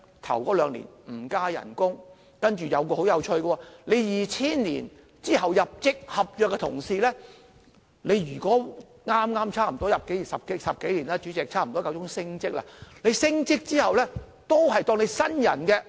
首兩年不增加工資，然後很有趣的是 ，2000 年之後入職的合約同事，已工作10多年，差不多是時候升職，但升職之後，仍然被視為新人。